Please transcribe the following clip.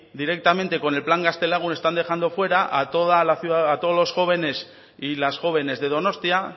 directamente con el plan gaztelagun están dejando fuera a todos los jóvenes y las jóvenes de donostia